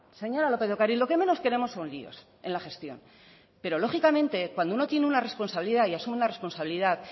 señora lópez de ocariz lo que menos queremos son líos en la gestión pero lógicamente cuando uno tiene una responsabilidad y asume una responsabilidad